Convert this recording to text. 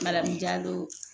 Madamu Jalo